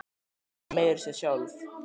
Þú sagðir það meira að segja sjálf!